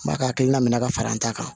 N b'a ka hakilina min minɛ ka fara n ta kan